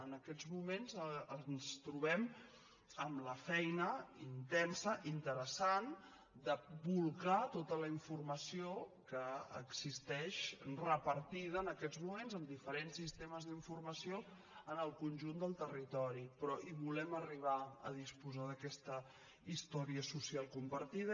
en aquests moments ens trobem amb la feina intensa interessant de bolcar tota la informació que existeix repartida en aquests moments amb diferents sistemes d’informació en el conjunt del territori però volem arribar a disposar d’aquesta història social compartida